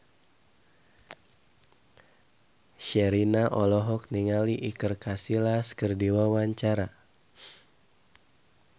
Sherina olohok ningali Iker Casillas keur diwawancara